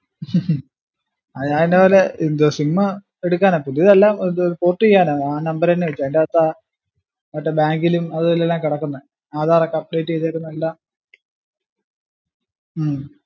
ഉം അത് ഞാന്ൻ്റെ പോലെ എന്താ sim എടുക്കാനാ പുതിയതല്ല ഇത് port ചെയ്യാനാ ആ number അഞ്ഞേ വെച്ചേ ആയിന്റാത് ആ മറ്റേ bank ലും അതു ഇതിലും എല്ലാ കെടക്കുന്ന ആധാറുഒക്കെ update ചെയ്തേക്കുന്ന എല്ലാ